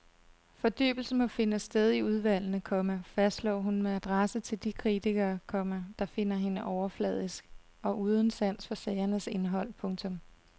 Fordybelsen må finde sted i udvalgene, komma fastslår hun med adresse til de kritikere, komma der finder hende overfladisk og uden sans for sagernes indhold. punktum